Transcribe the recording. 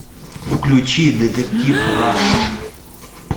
включи детектив раш